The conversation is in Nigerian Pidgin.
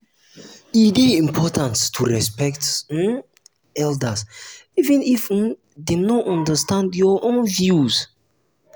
e dey important um to respect um elders even um if dem no understand your own views.